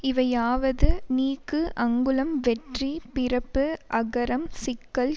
இவையாவது நீக்கு அங்குளம் வெற்றி பிறப்பு அகரம் சிக்கல்